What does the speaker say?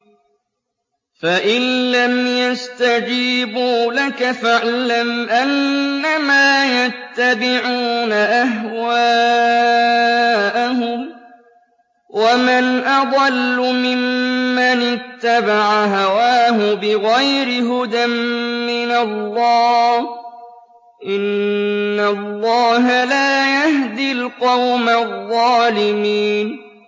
فَإِن لَّمْ يَسْتَجِيبُوا لَكَ فَاعْلَمْ أَنَّمَا يَتَّبِعُونَ أَهْوَاءَهُمْ ۚ وَمَنْ أَضَلُّ مِمَّنِ اتَّبَعَ هَوَاهُ بِغَيْرِ هُدًى مِّنَ اللَّهِ ۚ إِنَّ اللَّهَ لَا يَهْدِي الْقَوْمَ الظَّالِمِينَ